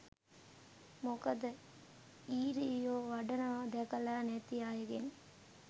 මොකද ඊරියො අඬනවා දැකල නැති අයගෙන්